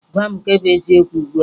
Gwa mụ nke bụ eziokwu ugbua!